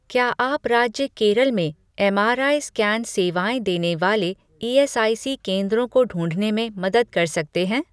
क्या आप राज्य केरल में एमआरआई स्कैन सेवाएँ देने वाले ईएसआईसी केंद्रों को ढूँढने में मदद कर सकते हैं